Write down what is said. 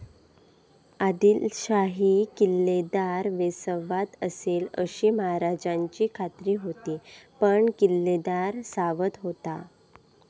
आदिलशाही किल्लेदार बेसावध असेल अशी महाराजांची खात्री होती पण किल्लेदार सावध होता.